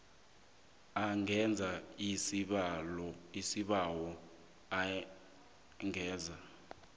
angenza isibawo enzela